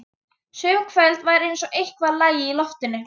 Sum kvöld var eins og eitthvað lægi í loftinu.